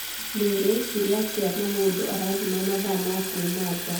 Ndĩngĩekire atĩa na mũndũ aranyima mathaa ma kuuma nja